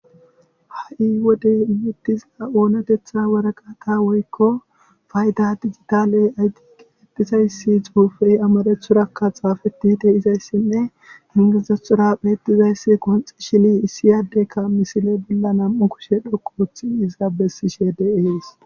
ha7i wodey imettisa7oonetetha waraqata woykko fayda digitaley ayqetizayssi xuufey amarethurakka xaafetite izayssinne ingizathora bettizayssi konxi shini issiyaaddekka misile bolla nam7u kushe dhoqoothi iza bessishe deehees